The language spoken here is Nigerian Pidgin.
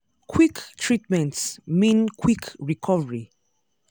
quick treatment mean quick recovery.